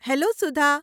Hello Sudha!